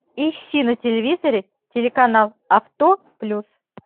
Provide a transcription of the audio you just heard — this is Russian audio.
ищи на телевизоре телеканал авто плюс